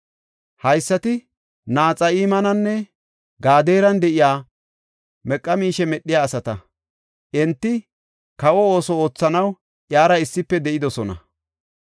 Haysati Naxa7imaninne Gadeeran de7iya meqa miishe medhiya asata. Enti kawa ooso oothanaw iyara issife de7idosona.